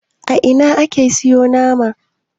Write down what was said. a Ina ake siyo nama